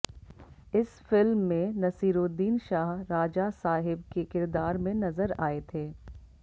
इस फिल्म में नसीरुद्दीन शाह राजा साहिब के किरदार में नजर आए थे